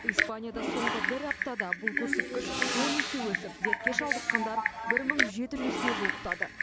испанияда соңғы бір аптада бұл көрсеткіш он есе өсіп дертке шалдыққандар бір мың жеті жүзге жуықтады